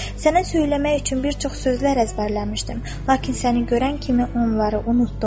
Sənə söyləmək üçün bir çox sözlər əzbərləmişdim, lakin səni görən kimi onları unutdum.